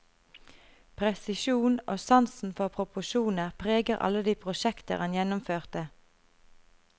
Presisjon og sansen for proporsjoner preger alle de prosjekter han gjennomførte.